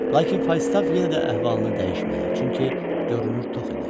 Lakin Faustaf yenə də əhvalını dəyişmədi, çünki görünür tox idi.